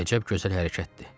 Əcəb gözəl hərəkətdir.